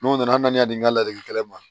N'o nana hali n'a y'a di n ka ladilikan ma